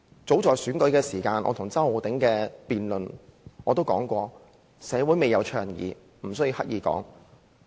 早在選舉期間，我與周浩鼎議員辯論時已指出社會未有倡議此事，無須刻意提及。